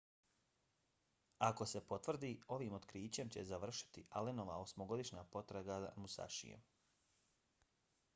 ako se potvrdi ovim otkrićem će se završiti allenova osmogodišnja potraga za musashijem